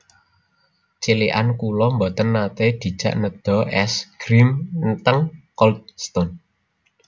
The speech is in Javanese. Cilikan kula mboten nate dijak nedha es grim teng Cold Stone